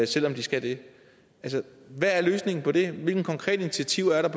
selv om de skal det altså hvad er løsningen på det hvilke konkrete initiativer er der